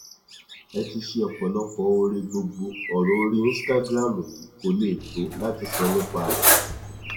ẹ ti ṣe ọpọlọpọ oore gbogbo ọrọ orí instagram yìí kó lè tó láti sọ nípa rẹ